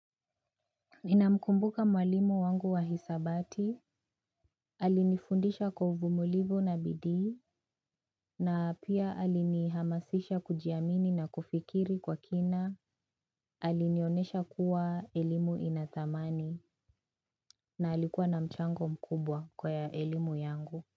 Ninamkumbuka mwalimu wangu wa hisabati, alinifundisha kwa uvumulivu na bidii, na pia alinihamasisha kujiamini na kufikiri kwa kina, alinionesha kuwa elimu ina thamani, na alikuwa na mchango mkubwa kwa ya elimu yangu.